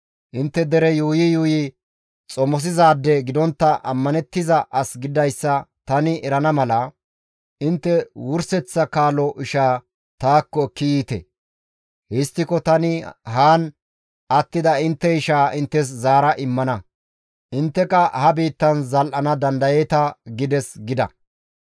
Intte dere yuuyi yuuyi xomosizaade gidontta, ammanettiza as gididayssa tani erana mala, intte wurseththa kaalo ishaa taakko ekki yiite. Histtiko tani haan attida intte ishaa inttes zaara immana; intteka ha biittan zal7ana dandayeeta› gides» gida.